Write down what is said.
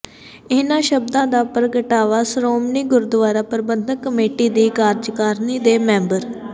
ਇਨ੍ਹਾਂ ਸ਼ਬਦਾਂ ਦਾ ਪ੍ਰਗਟਾਵਾਂ ਸ਼੍ਰੋਮਣੀ ਗੁਰਦੁਆਰਾ ਪ੍ਰਬੰਧਕ ਕਮੇਟੀ ਦੀ ਕਾਰਜਕਾਰਨੀ ਦੇ ਮੈਂਬਰ ਸ